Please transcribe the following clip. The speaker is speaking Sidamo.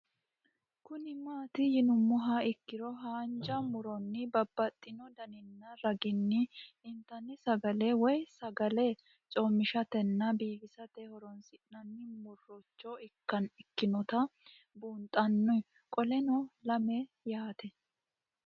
Kuni mati yinumoha ikiro hanja muroni babaxino daninina ragini intani sagale woyi sagali comishatenna bifisate horonsine'morich ikinota bunxana qoleno lame yaate?